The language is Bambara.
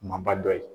Maba dɔ ye